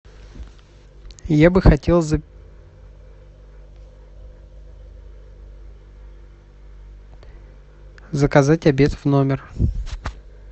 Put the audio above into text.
я бы хотел заказать обед в номер